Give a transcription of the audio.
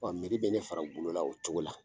bɛ ne fara o bolo la o cogo la.